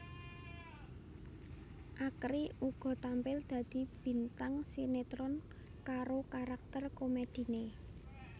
Akri uga tampil dadi bintang sinetron karo karakter komediné